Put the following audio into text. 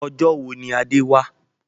Ọjọ́ wo ni Adé wá?